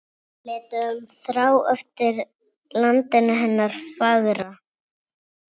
Þrá eftir landinu hennar fagra.